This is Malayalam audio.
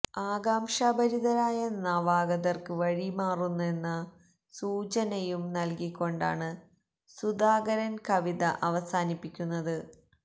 ആകാംക്ഷ ഭരിതരായ നവാഗതർക്ക് വഴി മാറുന്നെന്ന സൂചനയും നൽകി കൊണ്ടാണ് സുധാകരൻ കവിത അവസാനിപ്പിക്കുന്നത്